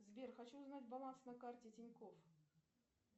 сбер хочу узнать баланс на карте тинькофф